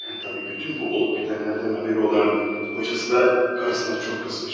Təbii bütün bu olub bitənlərdən xəbəri olan kocası da qarısına çox qızmış.